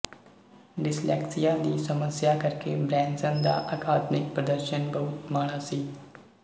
dyslexia ਦੀ ਸਮੱਸਿਆ ਕਰਕੇ ਬ੍ਰੈਨਸਨ ਦਾ ਅਕਾਦਮਿਕ ਪ੍ਰਦਰਸ਼ਨ ਬਹੁਤ ਮਾੜਾ ਸੀ